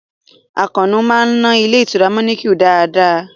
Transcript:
Àkànó a máa ná ilé ìtura manequal dáadáa